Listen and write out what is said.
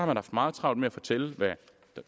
man haft meget travlt med at fortælle hvad